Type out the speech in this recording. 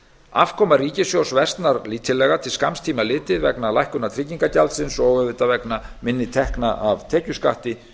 afkoma ríkissjóðs versnar lítillega til skamms tíma litið vegna lækkunar tryggingagjaldsins og auðvitað vegna minni tekna af tekjuskatti